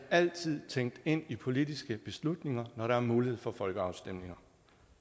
altid tænkt ind i politiske beslutninger når der er mulighed for folkeafstemninger